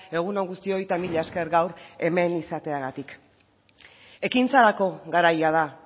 egun on guztioi eta mila esker gaur hemen izateagatik ekintzarako garaia da